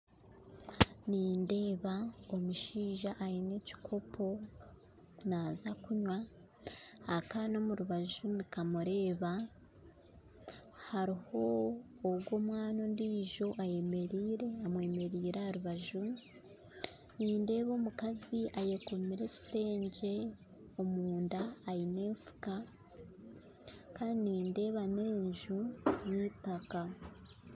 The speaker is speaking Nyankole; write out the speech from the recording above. Nindeeba omushaija ayine ekikopo naaza okunywa, akaana omu rubaju nikamureeba hariho ogwo omwana ondiijo ayemeriire amwemeriire aha rubaju, nindeeba omukazi ayekomere ekitengye omunda aine enfuka kandi nindeeba n'enju eyitaka